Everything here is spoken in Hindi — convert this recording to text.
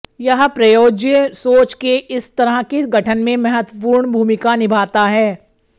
यह प्रयोज्य सोच के इस तरह के गठन में महत्वपूर्ण भूमिका निभाता है